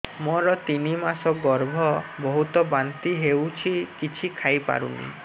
ମୋର ତିନି ମାସ ଗର୍ଭ ବହୁତ ବାନ୍ତି ହେଉଛି କିଛି ଖାଇ ପାରୁନି